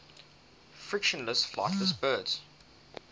fictional flightless birds